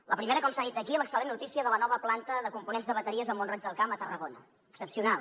la primera com s’ha dit aquí l’excel·lent notícia de la nova planta de components de bateries a mont roig del camp a tarragona excepcional